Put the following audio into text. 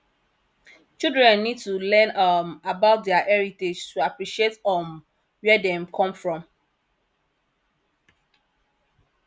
children need to learn um about their heritage to appreciate um where dem come from